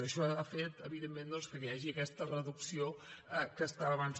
això ha fet evidentment que hi hagi aquesta reducció que comentava abans